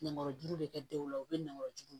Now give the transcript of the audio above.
Nɛmarajuru de kɛ denw la u bɛ nɛmarajugu